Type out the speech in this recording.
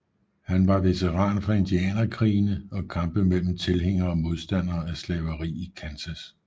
Han var veteran fra indianerkrigene og kampe mellem tilhængere og modstandere af slaveri i Kansas